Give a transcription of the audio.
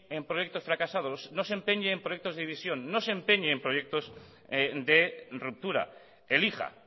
en proyectos fracasados no se empeñe en proyectos de división no se empeñe en proyectos de ruptura elija